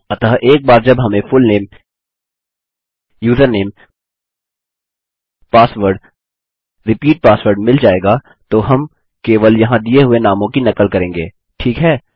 अतः एक बार जब हमें full name username password repeat password मिल जाएगा तो हम केवल यहाँ दिए हुए नामों की नकल करेंगे ठीक है